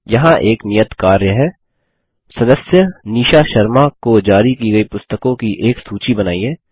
यहाँ एक नियत कार्य है सदस्य निशा शर्मा को जारी कि गयी पुस्त्कों की एक सूची बनाइए